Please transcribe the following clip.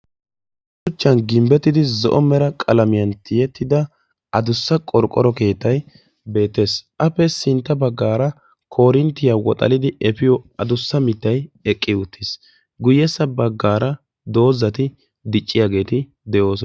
shuchchan gimbbettidi zo''o mera qalamiyan tiyyettida addussa qorqqoro keettay beettes, appe sintta baggaar koorinttiya woxallidi efiyo addussa mittay eqqi uttiis. guyyessa baggaara doozati dicciyaageeti de'oosona.